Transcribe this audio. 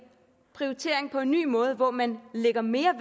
prioritering på en ny måde hvor man lægger mere